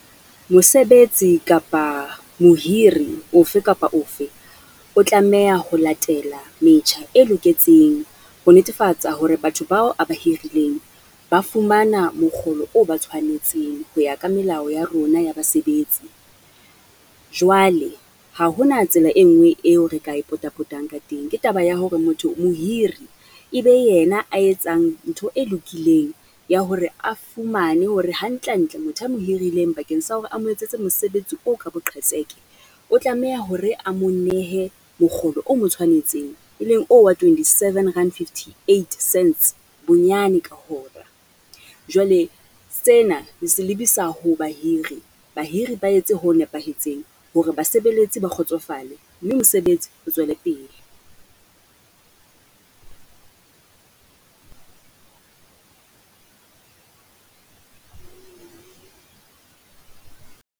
Mosebetsi kapa mohiri ofe kapa ofe, o tlameha ho latela metjha e loketseng ho netefatsa hore batho bao a ba hirileng ba fumana mokgolo o ba tshwanetseng ho ya ka melao ya rona ya basebetsi. Jwale ha ho na tsela e nngwe eo re ka e potapotang ka teng. Ke taba ya hore motho mohiri e be yena a etsang ntho e lokileng ya hore a fumane hore hantle hantle motho a mo hirileng, bakeng sa hore a mo etsetse mosebetsi o ka boqhetseke, o tlameha hore a mo nehe mokgolo o mo tshwanetseng, e leng oo wa twenty-seven rand fifty-eight cents bonyane ka hora. Jwale sena re se lebisa ho bahiri, bahiri ba etse ho nepahetseng, hore basebeletsi ba kgotsofale mme mosebetsi o tswele pele.